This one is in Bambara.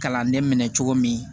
Kalanden minɛ cogo min